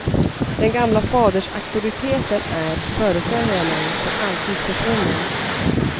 Den gamla fadersauktoriteten är, föreställer jag mig, för alltid försvunnen.